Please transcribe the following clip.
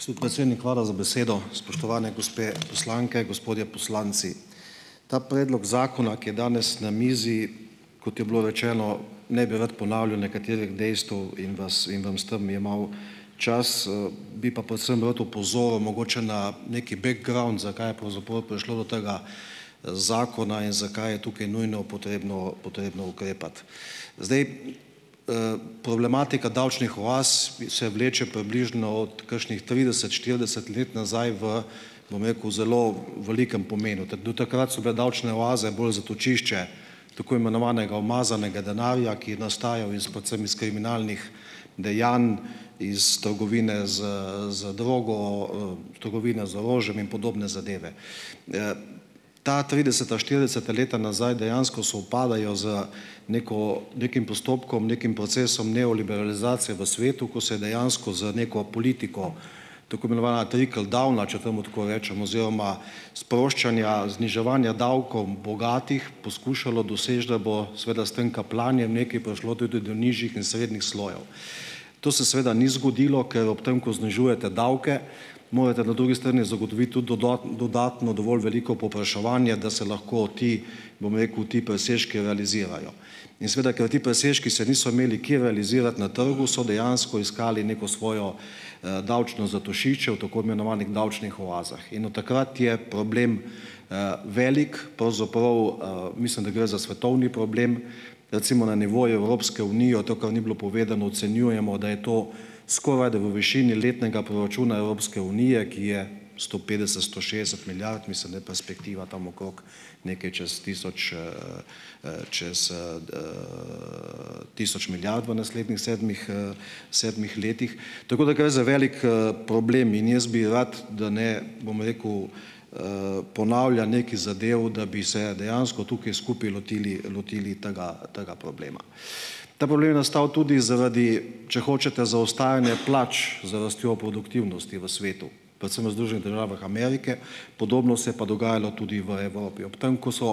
Gospod predsednik, hvala za besedo. Spoštovane gospe poslanke, gospodje poslanci. Ta predlog zakona, ki je danes na mizi, kot je bilo rečeno, ne bi rad ponavljal nekaterih dejstev in vas in vam s tem jemal čas, bi pa predvsem rad opozoril mogoče na neki background, zakaj je pravzaprav prišlo do tega, zakona in zakaj je tukaj nujno potrebno, potrebno ukrepati. Zdaj, problematika davčnih oaz se vleče približno od kakšnih trideset, štirideset let nazaj v, bom rekel, zelo velikem pomenu. do takrat so bile davčne oaze bolj zatočišče tako imenovanega umazanega denarja, ki je nastajal iz predvsem iz kriminalnih dejanj, iz trgovine z, z drogo, trgovine z orožjem in podobne zadeve. Ta trideseta, štirideseta leta nazaj dejansko sovpadajo z neko, nekim postopkom, nekim procesom neoliberalizacije v svetu, ko se je dejansko z neko politiko, tako imenovana trickle downa, če temu tako rečem, oziroma sproščanja, zniževanja davkov bogatih, poskušalo doseči, da bo seveda s tem kapljanjem nekaj prišlo tudi do nižjih in srednjih slojev. To se seveda ni zgodilo. Ker ob tem, ko znižujete davke, morate na drugi strani zagotoviti tudi dodatno dovolj veliko povpraševanje, da se lahko ti, bom rekel, ti presežki realizirajo. In seveda ker ti presežki se niso imeli kje realizirati na trgu, so dejansko iskali neko svojo, davčno zatočišče v tako imenovanih davčnih oazah. In od takrat je problem, velik. Pravzaprav, mislim, da gre za svetovni problem. Recimo, na nivoju Evropske unije, to, kar ni bilo povedano, ocenjujemo, da je to skoraj, da v višini letnega proračuna Evropske unije, ki je sto petdeset, sto šestdeset milijard, mislim, da je perspektiva tam okrog nekaj čez tisoč, čez, tisoč milijard v naslednjih sedmih, sedmih letih. Tako da gre za velik, problem. In jaz bi rad, da ne, bom rekel, ponavljam nekaj zadev, da bi se dejansko tukaj skupaj lotili, lotili tega tega problema. Ta problem je nastal tudi zaradi, če hočete, zaostajanja plač za rastjo produktivnosti v svetu. Predvsem v Združenih državah Amerike. Podobno se je pa dogajalo tudi v Evropi. Ob tem, ko so,